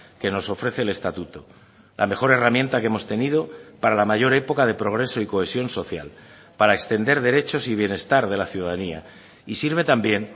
que nos ofrece el estatuto la mejor herramienta que hemos tenido para la mayor época de progreso y cohesión social para extender derechos y bienestar de la ciudadanía y sirve también